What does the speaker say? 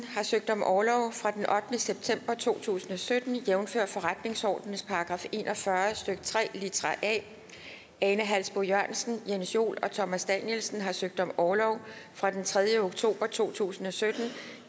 har søgt om orlov fra den ottende september to tusind og sytten jævnfør forretningsordenens § en og fyrre stykke tre litra a ane halsboe jørgensen jens joel og thomas danielsen har søgt om orlov fra den tredje oktober to tusind og sytten